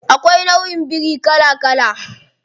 Akwai nauʼin biri kala kala.